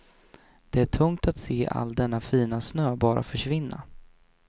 Det är tungt att se all denna fina snö bara försvinna.